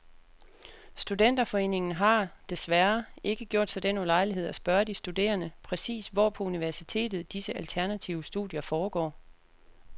Studenterforeningen har, desværre, ikke gjort sig den ulejlighed at spørge de studerende, præcis hvor på universitetet disse alternative studier foregår.